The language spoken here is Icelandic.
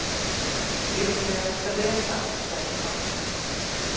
Líklegast Bretar, hélt hann.